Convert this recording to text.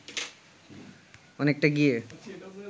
অনেকটা গিয়ে